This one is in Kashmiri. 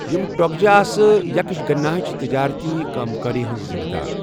یِم ٹۄگجہ آسہٕ یکشگناہٕچ تجٲرتی کأم کٲری ہِنٛز ذمدار۔